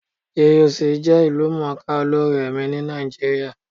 GUC jẹ́ ìlú mọ̀ọ́ ká olórin ẹ̀mí ní Nàìjíríà.